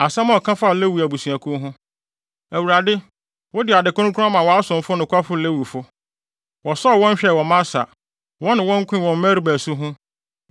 Asɛm a ɔka faa Lewi abusuakuw ho: “ Awurade, wode ade kronkron ama wʼasomfo nokwafo Lewifo. Wosɔɔ wɔn hwɛe wɔ Masa wɔne wɔn koe wɔ Meriba asu ho.